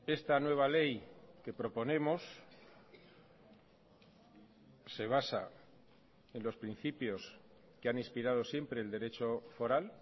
esta nueva ley que proponemos se basa en los principios que han inspirado siempre el derecho foral